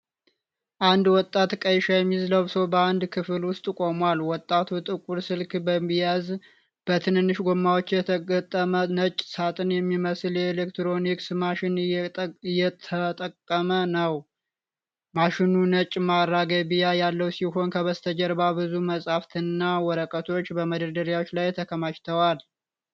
አንድ ወጣት ቀይ ሸሚዝ ለብሶ በአንድ ክፍል ውስጥ ቆሟል። ወጣቱ ጥቁር ስልክ በመያዝ በትንንሽ ጎማዎች የተገጠመ ነጭ ሳጥን የሚመስል የኤሌክትሮኒክስ ማሽን እየተጠቀመ ነው። ማሽኑ ነጭ ማራገቢያ ያለው ሲሆን፣ ከበስተጀርባ ብዙ መጻሕፍትና ወረቀቶች በመደርደሪያዎች ላይ ተከማችተዋል።